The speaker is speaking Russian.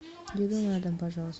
еду на дом пожалуйста